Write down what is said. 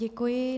Děkuji.